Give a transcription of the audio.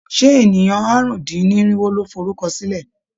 Ṣé ènìyàn àrùn-dín-irinwo ló forúkọsílẹ̀?